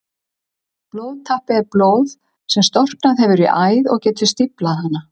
Blóðtappi er blóð sem storknað hefur í æð og getur stíflað hana.